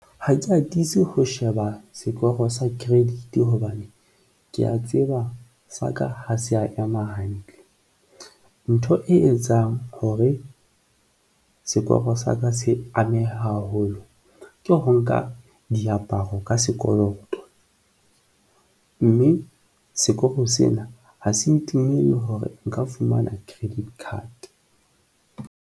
Ha ke atise ho sheba sekoro sa credit hobane ke ya tseba sa ka ha se ya ema hantle. Ntho e etsang hore sekoro sa ka se ameha haholo ke ho nka diaparo ka sekoloto, mme sekoro sena ha se ntumelle hore nka fumana credit card.